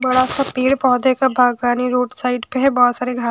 पेड़ पौधे का भागानी रोड साइड पे है बहुत सारे घा --